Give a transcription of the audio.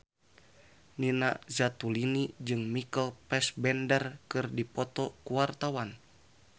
Nina Zatulini jeung Michael Fassbender keur dipoto ku wartawan